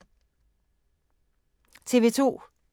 TV 2